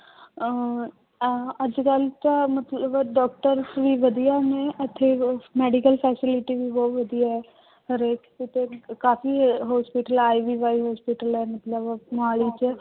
ਅਹ ਅਹ ਅੱਜ ਕੱਲ੍ਹ ਤਾਂ ਮਤਲਬ doctors ਵੀ ਵਧੀਆ ਨੇ ਇੱਥੇ medical facilities ਵੀ ਬਹੁਤ ਵਧੀਆ ਹੈ, ਹਰੇਕ ਕਿਤੇ ਕਾਫ਼ੀ hospital hospital ਹੈ ਮਤਲਬ ਮੁਹਾਲੀ ਚ।